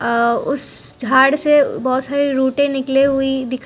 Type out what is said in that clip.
उस झाड़ से बहुत सारे रूटे निकले हुई दिख--